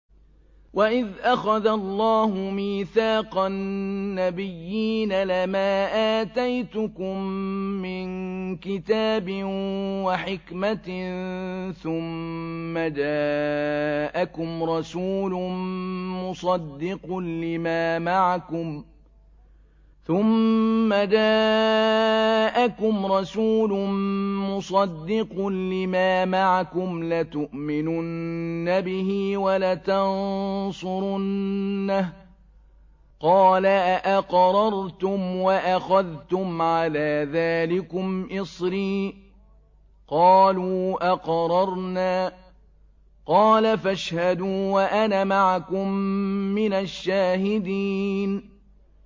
وَإِذْ أَخَذَ اللَّهُ مِيثَاقَ النَّبِيِّينَ لَمَا آتَيْتُكُم مِّن كِتَابٍ وَحِكْمَةٍ ثُمَّ جَاءَكُمْ رَسُولٌ مُّصَدِّقٌ لِّمَا مَعَكُمْ لَتُؤْمِنُنَّ بِهِ وَلَتَنصُرُنَّهُ ۚ قَالَ أَأَقْرَرْتُمْ وَأَخَذْتُمْ عَلَىٰ ذَٰلِكُمْ إِصْرِي ۖ قَالُوا أَقْرَرْنَا ۚ قَالَ فَاشْهَدُوا وَأَنَا مَعَكُم مِّنَ الشَّاهِدِينَ